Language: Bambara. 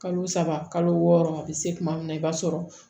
Kalo saba kalo wɔɔrɔ a bi se kuma min na i b'a sɔrɔ